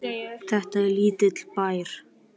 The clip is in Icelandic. Þetta er lítill bær.